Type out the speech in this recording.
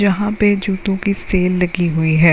यहाँ पे जूतों की सेल लगी हुई है।